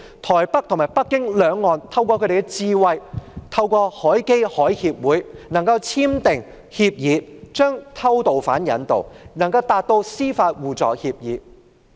台北和北京兩岸透過智慧，透過海峽交流基金會和海峽兩岸關係協會簽訂協議，並就偷渡犯引渡達成司法互助協議。